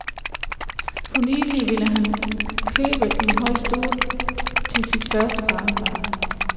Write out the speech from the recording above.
For nylig ville han købe en høj stol til sit første barnebarn.